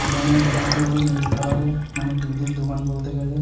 দোকানের লোগো -টি হল নীল কালারের মানে দুধের দোকান বলতে গেলে।